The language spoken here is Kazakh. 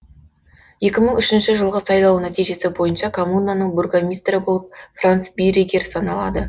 екі мың үшінші жылғы сайлау нәтижесі бойынша коммунаның бургомистрі болып франц биреггер саналады